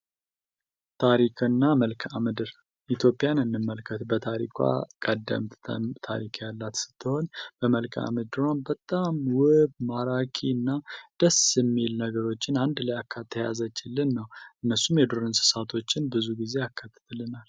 ታሪክና መልክዓ ምድር ኢትዮጵያን እንመልከት በታሪኳ ቀደም ቅድም ስትሆን ቀደምት ታሪክ ያላት ስትሆን በመልካም በጣም ውብ ማራኪ እና ደስ የሚል የሚሉ ነገሮችን አንድ ላይ አካታ የያዘችልን እነሱም የዱር እንስሳቶችን ብዙ ጊዜ ያካትትልናል።